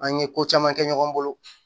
An ye ko caman kɛ ɲɔgɔn bolo